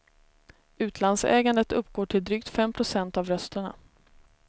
Utlandsägandet uppgår till drygt fem procent av rösterna.